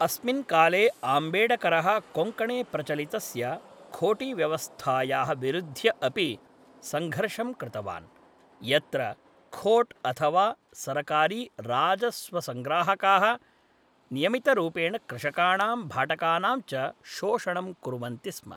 अस्मिन् काले आम्बेड्करः कोङ्कणे प्रचलितस्य खोटीव्यवस्थायाः विरुद्ध्य अपि सङ्घर्षं कृतवान्, यत्र खोट् अथवा सरकारी राजस्वसंग्राहकाः नियमितरूपेण कृषकाणां भाटकानां च शोषणं कुर्वन्ति स्म।